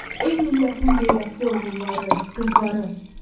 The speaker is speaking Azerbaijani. Ey millətin qeyrətli oğulları, qızları.